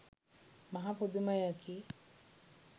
මහා පුදුමයකි